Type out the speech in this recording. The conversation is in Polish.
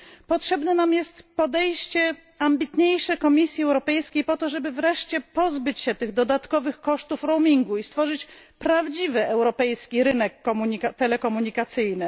Potrzebne jest nam ambitniejsze podejście Komisji Europejskiej po to, żeby wreszcie pozbyć się tych dodatkowych kosztów roamingu i stworzyć prawdziwy europejski rynek telekomunikacyjny.